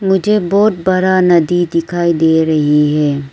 मुझे बहुत बड़ा नदी दिखाई दे रही है।